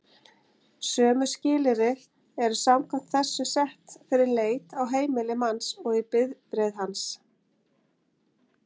Sömu skilyrði eru samkvæmt þessu sett fyrir leit á heimili manns og í bifreið hans.